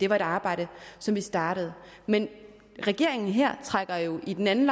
var et arbejde som vi startede men regeringen her trækker jo i den anden